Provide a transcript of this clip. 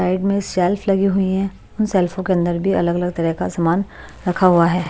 Side में shelf लगी हुई हैं उन शेल्फों के अंदर भी अलग अलग तरह का सामान रखा हुआ है।